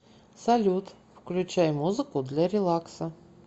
салют включай музыку для релакса